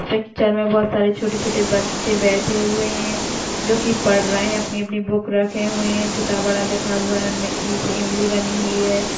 Picture में बहुत सारे छोटे-छोटे बच्चे बैठे हुए हैं जो कि पढ़ रहे हैं अपनी-अपनी बुक रखे हुए हैं छोटा बड़ा लिखा हुआ है इ से इमली बनी हुई है।